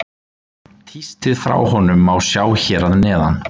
Tístið frá honum má sjá hér að neðan.